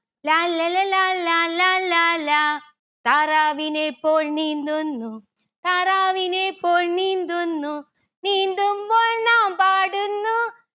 ലാല്ലല ലാലാ ലാലാ ലാ. താറാവിനെ പോൽ നീന്തുന്നു. താറാവിനെ പോൽ നീന്തുന്നു. നീന്തുമ്പോൾ നാം പാടുന്നു